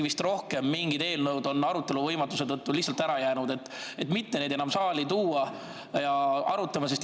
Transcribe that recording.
Kas juhatus on Riigikogu nädala töökava planeerides, tööaega arvestades arutanud, et neid saali enam mitte tuua?